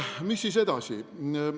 Mis siis edasi?